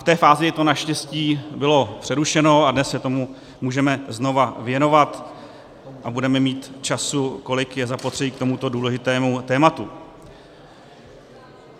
V té fázi to naštěstí bylo přerušeno a dnes se tomu můžeme znovu věnovat a budeme mít času, kolik je zapotřebí k tomuto důležitému tématu.